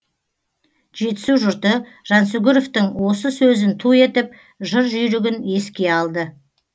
жетісу жұрты жансүгіровтың осы сөзін ту етіп жыр жүйрігін еске алды